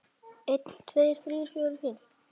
einn. tveir. þrír. fjórir. fimm.